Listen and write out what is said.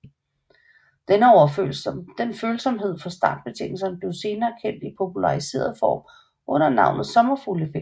Denne følsomhed for startbetingelserne blev senere kendt i populariseret form under navnet sommerfugleffekten